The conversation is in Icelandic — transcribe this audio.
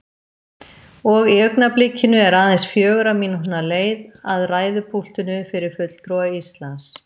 Og í augnablikinu er aðeins fjögurra mínútna leið að ræðupúltinu fyrir fulltrúa Íslands.